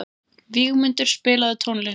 Vígmundur, spilaðu tónlist.